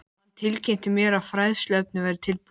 Hann tilkynnti mér, að fræðsluefnið væri tilbúið